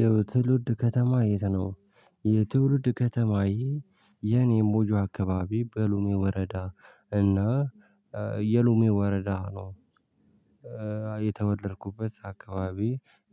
የትውልድ ከተማ የት ነው? የትውልድ ከተማ የኔም ቦጆ አካባቢ በሉሜ ወረዳ እና የሉሜ ወረዳ ነው። የተወደድኩበት አካባቢ